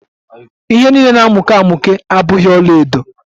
Ihe niile na-amuke amuke abughi ọlaedo